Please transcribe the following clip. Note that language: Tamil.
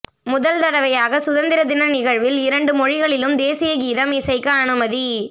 முதல் தடவையாக சுதந்திர தின நிகழ்வில் இரண்டு மொழிகளிலும் தேசிய கீதம் இசைக்க அனுமதி